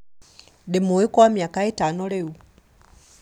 Ndĩmũĩ kwa mĩaka ĩtano rĩu